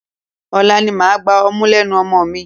Ọ̀la ni màá gba ọmú lẹ́nu ọmọ mi.